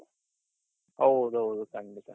ಹೌದ್ ಹೌದು ಖಂಡಿತ